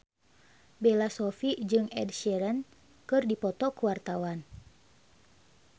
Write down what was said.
Bella Shofie jeung Ed Sheeran keur dipoto ku wartawan